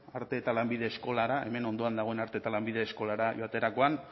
arte eta lanbide eskolara hemen ondoan dagoen arte eta lanbide eskolara joaterakoan